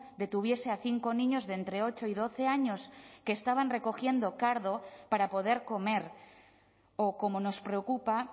detuviese a cinco niños de entre ocho y doce años que estaban recogiendo cardo para poder comer o como nos preocupa